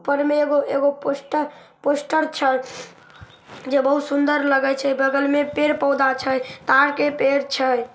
ऊपर मे एगो एगो पोस्टर छै जे बहुत सुंदर लगे छै बगल में पेड़-पौधा छै तार के पेड़ छै।